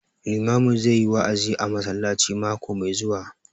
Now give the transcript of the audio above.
Limamin zai yi wa'azi a masallaci mako mai zuwa